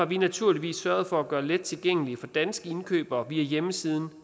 vi naturligvis sørget for at gøre let tilgængelige for danske indkøbere via hjemmesiden